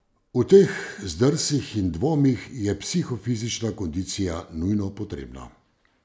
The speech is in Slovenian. V teh zdrsih in dvomih je psihofizična kondicija nujno potrebna.